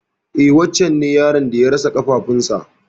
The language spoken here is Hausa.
E wancen ne yaron da ya rasa ƙafafuwan sa.